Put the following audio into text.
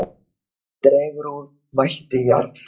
Dregur úr mætti Jarls